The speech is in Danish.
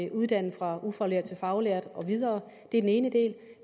uddanne fra ufaglært til faglært og videre det er den ene del